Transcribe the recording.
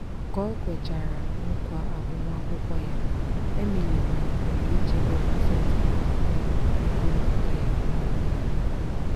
ka o kwechara nkwa agbamakwukwọ ya emily malitere ichebe pasenti iri abụọ ego mbata ya ọnwa niile.